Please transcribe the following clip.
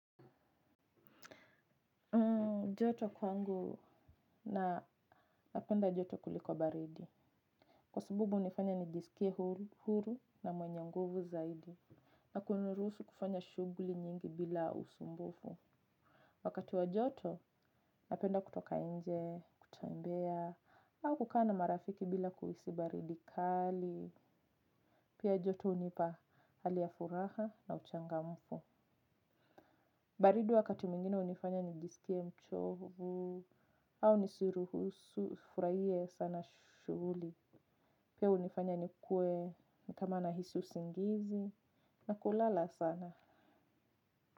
Joto kwangu, na napenda joto kuliko baridi. Kwa sababu unifanya nijisikie huru na mwenye nguvu zaidi. Na kuniruhusu kufanya shuguli nyingi bila usumbufu. Wakati wa joto napenda kutoka nje, kutembea, au kukaa na marafiki bila kuhisi baridi kali. Pia joto hunipa hali ya furaha na uchangamfu. Baridi wakati mingine hunifanya nijisikie mchovu. Au nisiruhusu furahie sana shuguli. Pia hunifanya nikuwe ni kama nahisi usingizi na kulala sana.